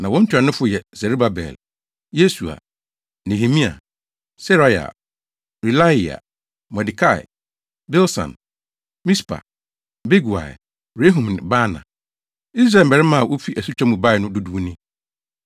Na wɔn ntuanofo yɛ Serubabel, Yesua, Nehemia, + 2.2 Saa Nehemia yi nyɛ Nehemia a ɔkyerɛw Nehemia Nhoma no. Seraia, Reelaia, Mordekai, Bilsan, Mispar, Bigwai, Rehum ne Baana. Israel mmarima a wofi asutwa mu bae no dodow ni: 1